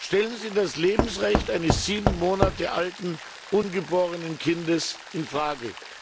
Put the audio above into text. Stellen Sie das Lebensrecht eines sieben Monate alten ungeborenen Kindes in Frage?